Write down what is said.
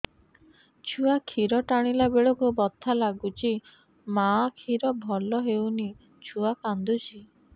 ଛୁଆ ଖିର ଟାଣିଲା ବେଳକୁ ବଥା ଲାଗୁଚି ମା ଖିର ଭଲ ହଉନି ଛୁଆ କାନ୍ଦୁଚି